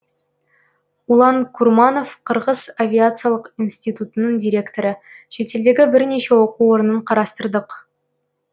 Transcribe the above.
улан курманов қырғыз авиациялық институтының директоры шетелдегі бірнеше оқу орнын қарастырдық